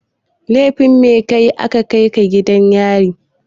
Lefin me kayi aka kai ka gidan yari?